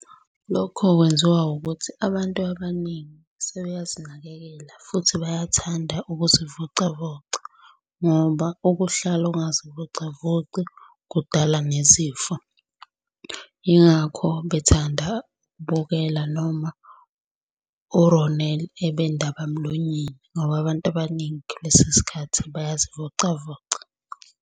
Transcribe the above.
Lokho kwenziwa ukuthi abantu abaningi sebeyazinakekela futhi bayathanda ukuzivocavoca ngoba ukuhlala ungazivocavoci kudala nezifo. Yingakho bethanda ukubukela noma u-Ronel ebendaba mlonyeni ngoba abantu abaningi kulesi sikhathi bayazivocavoca.